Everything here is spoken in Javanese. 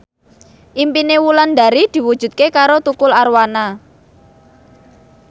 impine Wulandari diwujudke karo Tukul Arwana